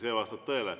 See vastab tõele.